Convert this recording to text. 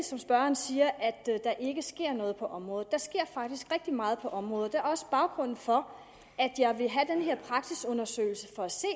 som spørgeren siger at der ikke sker noget på området der sker faktisk rigtig meget på området og det er også baggrunden for at jeg vil have den her praksisundersøgelse for at se